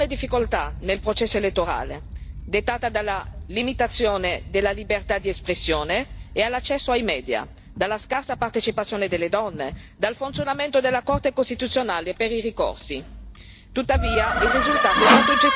Non lo nego, abbiamo riscontrato alcune difficoltà nel processo elettorale, dettate dalla limitazione della libertà di espressione, dall'accesso ai media, dalla scarsa partecipazione delle donne, dal funzionamento della Corte costituzionale per i ricorsi.